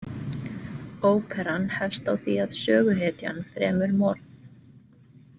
Óperan hefst á því að söguhetjan fremur morð.